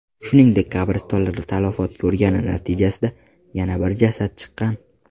Shuningdek, qabristonlar talafot ko‘rgani natijasida yana bir jasad chiqqan.